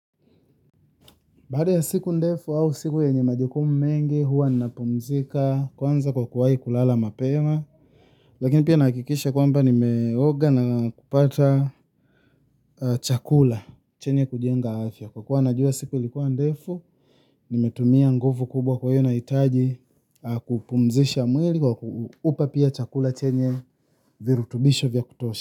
Baada ya siku ndefu au siku yenye majukumu mengi huwa napumzika kwanza kwa kuwai kulala mapema. Lakini pia nahakikisha kwamba nimeoga na kupata chakula chenye kujenga afya, kwa kuwa najua siku ilikuwa ndefu, nimetumia nguvu kubwa kwaio nahitaji kupumzisha mwili kwa ku upa pia chakula chenye virutubisho vya kutosha.